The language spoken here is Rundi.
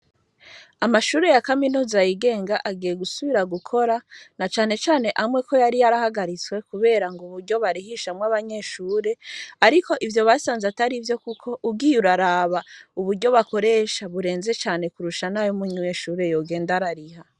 Amashure ya kaminuza yigenga agiye gusubira gukora na canecane amwe ko yari yarahagaritswe, kubera ngo uburyo barihishamwo abanyeshure, ariko ivyo basanze atari ivyo, kuko ugiyura araba uburyo bakoresha burenze cane kurusha nayo umwunyweshure yogenda arariha.